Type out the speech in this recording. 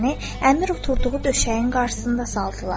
Əmr oturduğu döşəyin qarşısında saldılar.